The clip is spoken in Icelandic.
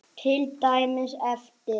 Til dæmis eftir